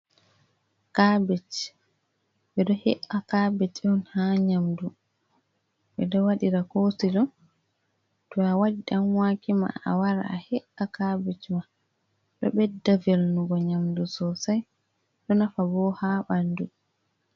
Kabej. Ɓe ɗo he’a kabej on haa nyamdu, ɓe ɗo waɗira kosilo. To a waɗi ɗanwake ma, a wara a he’a kabej ma, ɗo ɓedda velnugo nyamdu sosai, ɗo nafa bo haa ɓandu.